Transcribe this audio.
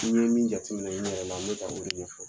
N ye min jateminɛ n yɛrɛ la n bɛ ka o de ɲɛfɔ